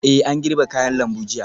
Eh an girbe kayan lambu jiya